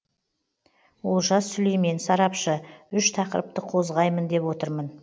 олжас сүлеймен сарапшы үш тақырыпты қозғаймын деп отырмын